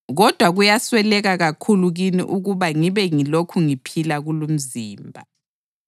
Kodwa kuyasweleka kakhulu kini ukuba ngibe ngilokhu ngiphila kulumzimba.